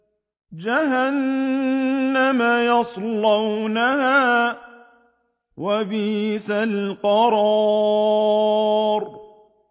جَهَنَّمَ يَصْلَوْنَهَا ۖ وَبِئْسَ الْقَرَارُ